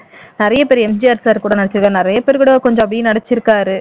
நிறைய பேர் MGR sir கூட நடிச்சிருக்காரு நிறைய பேர் கூட கொஞ்சம் அப்படியே நடிச்சிருக்காரு